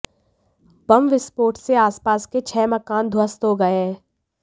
बम विस्फोट से आसपास के छह मकान ध्वस्त हो गए हैं